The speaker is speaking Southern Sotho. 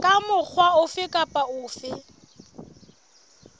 ka mokgwa ofe kapa ofe